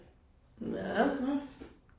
Ja